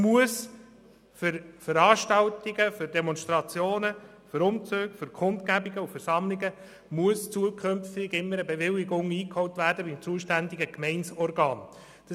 Für Veranstaltungen, Demonstrationen, Umzüge, Kundgebungen und Versammlungen muss zukünftig immer eine Bewilligung beim zuständigen Gemeindeorgan eingeholt werden.